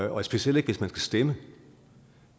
og specielt ikke hvis man skal stemme